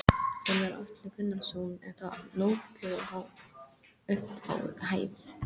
Gunnar Atli Gunnarsson: Er það nógu há upphæð?